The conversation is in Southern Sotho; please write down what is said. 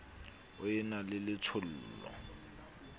o e na le letshollo